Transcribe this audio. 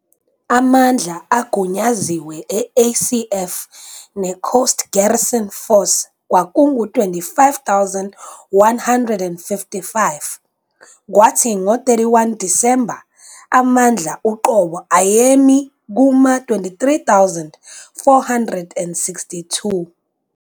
Amandla agunyaziwe e-ACF ne-Coast Garrison Force kwakungu-25,155 kwathi ngo-31 Disemba amandla uqobo ayemi kuma-23,462.